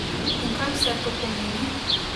In kaj vse to pomeni?